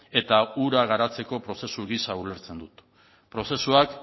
eta hura garatzeko prozesu gisa ulertzen dut prozesuak